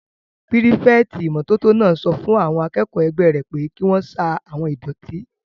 Pírífẹ̀tì ìmótótó náà sọ fún àwọn akẹ́kọ̀ọ́ ẹgbẹ́ rẹ̀ pé kí wọ́n sa àwon ìdọ̀tí